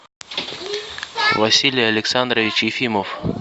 василий александрович ефимов